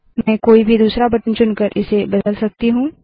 मैं कोई भी दूसरा बटन चुनकर इसे बदल सकती हूँ